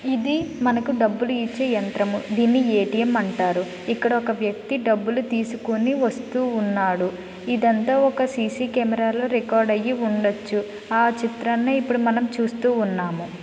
ఇది మనకు డబ్బులు ఇచ్చే యంత్రము దీన్ని ఏ_టీ_ఎం అంటారు. ఇక్కడ ఒక వ్యక్తి డబ్బులు తీసుకుని వస్తూ ఉన్నాడు. ఇదంతా ఒక సీ_సీ కెమెరా లో రికార్డు అయి ఉండొచ్చు. ఆ చిత్రాన్ని మనం ఇప్పుడు చూస్తూ ఉన్నాము.